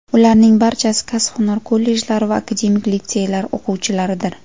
Ularning barchasi kasb-hunar kollejlari va akademik litseylar o‘quvchilaridir.